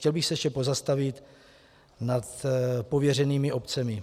Chtěl bych se ještě pozastavit nad pověřenými obcemi.